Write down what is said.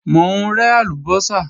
Mò ń rẹ́ àlùbọ́sà